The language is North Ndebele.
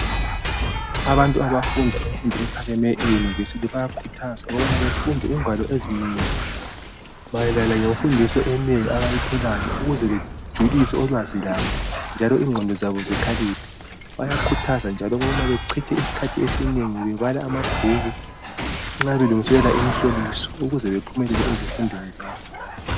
Abantu abafunda imfundo ephakemeyo eyunivesithi bayakhuthazwa ukubana befunde ingwalo ezinengi mayelana ngemfundo abayitholayo ukuze bejulise ulwazi lwabo njalo ingqondo zabo zikhaliphe. Bayakhuthazwa njalo ukubana bechithe isikhathi esinengi bebala amabhuku nxa belungiselela imhloliso ukuze bephumelele ezifundweni zabo.